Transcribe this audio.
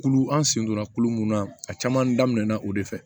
Kulu an sen donna kulo mun na a caman daminɛna o de fɛ